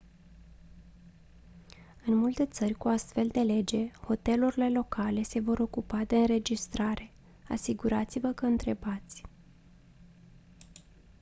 în multe țări cu o astfel de lege hotelurile locale se vor ocupa de înregistrare asigurați-vă că întrebați